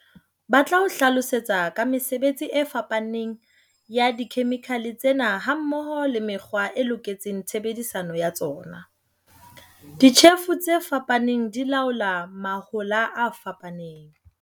Ba tla o hlalosetsa ka mesebetsi e fapaneng ya dikhemikhale tsena hammoho le mekgwa e loketseng tshebediso ya tsona. Ditjhefo tse fapaneng di laola mahola a fapaneng.